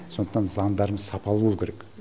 сондықтан заңдарымыз сапалы болуы керек